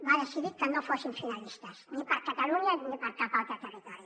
va decidir que no fossin finalistes ni per a catalunya ni per a cap altre territori